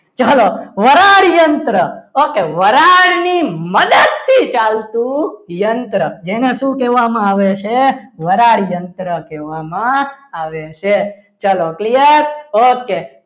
ચાલો વરાળ યંત્ર ઓકે વરાળની મદદ થી ચાલતું યંત્ર જેને શું કહેવામાં આવે છે વરાળ યંત્ર કહેવામાં આવે છે ચલો clear okay